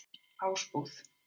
Ásbúð